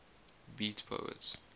beat poets